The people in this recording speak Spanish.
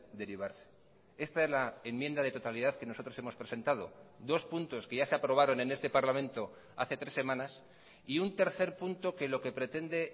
derivarse esta es la enmienda de totalidad que nosotros hemos presentado dos puntos que ya se aprobaron en este parlamento hace tres semanas y un tercer punto que lo que pretende